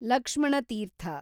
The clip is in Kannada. ಲಕ್ಷ್ಮಣ ತೀರ್ಥ